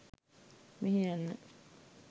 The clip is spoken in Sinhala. මෙහේ යන්න.